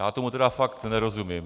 Já tomu tedy fakt nerozumím.